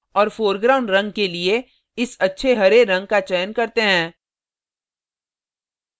और foreground रंग के लिए इस अच्छे हरे रंग का चयन करते हैं